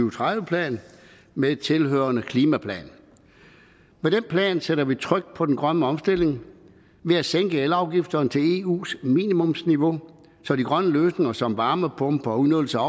og tredive plan med tilhørende klimaplan med den plan sætter vi tryk på den grønne omstilling ved at sænke elafgifterne til eus minimumsniveau så de grønne løsninger som varmepumper og udnyttelse